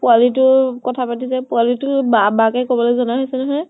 পোৱালী তো কথা পাতিলে, পোৱালী তো বা বা কে কʼব জনা হৈছে নহয় ।